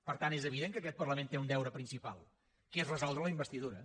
per tant és evident que aquest parlament té un deure principal que és resoldre la investidura